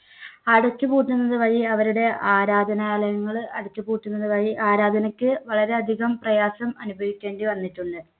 അടച്ചുപൂട്ടുന്നത് വഴി അവരുടെ ആരാധനാലയങ്ങള് അടച്ചുപൂട്ടുന്നത് വഴി ആരാധനയ്ക്ക് വളരെയധികം പ്രയാസം അനുഭവിക്കേണ്ടി വന്നിട്ടുണ്ട്.